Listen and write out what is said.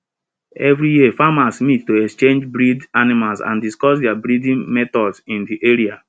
every year farmers meet to exchange bred animals and discuss their breeding methods in the area